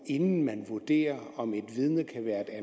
inden man vurderer om et